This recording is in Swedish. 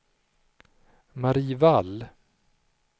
Marie Wall